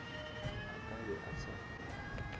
a ka be a sa